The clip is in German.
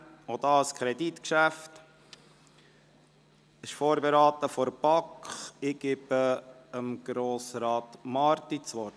Auch dies ist ein Kreditgeschäft, welches von der BaK vorberaten wurde.